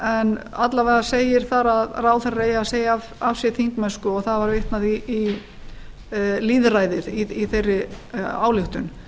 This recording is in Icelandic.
en alla vega segir þar að ráðherrar eigi að segja af sér þingmennsku og það var vitnað í lýðræðið í þeirri ályktun en ég